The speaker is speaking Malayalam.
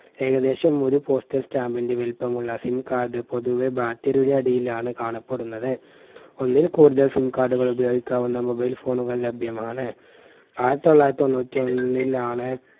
ഏകദേശം ഒരു postal stamp ന്റെ വലിപ്പമുള്ള SIM card പൊതുവെ battery യുടെ അടിയിലാണ് കാണപ്പെടുന്നത്. ഒന്നിൽ കൂടുതൽ SIM card കൾ ഉപയോഗിക്കാവുന്ന mobile phone കൾ ലഭ്യമാണ്. ആയിരത്തി തൊള്ളായിരത്തി തൊണ്ണൂറ്റി ഒന്നിലാണ്